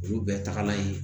Olu bɛɛ tagala ye